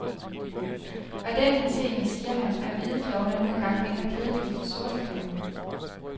Og i den henseende, siger han, er hvide klovner nu engang mindre kedelige end sorte klovne.